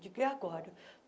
Digo, e agora?